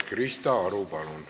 Krista Aru, palun!